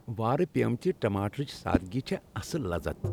وارٕ پپیمتہ ٹماٹرٕچ سادٕگی چھےٚ اصل لذت ۔